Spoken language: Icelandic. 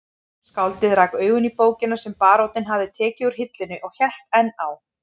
Skáldið rak augun í bókina sem baróninn hafði tekið úr hillunni og hélt enn á